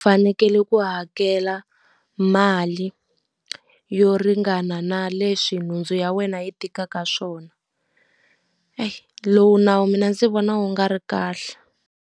Fanekele ku hakela mali yo ringana na leswi nhundzu ya wena yi tikaka swona. Eyi lowu nawu mina ndzi vona wu nga ri kahle.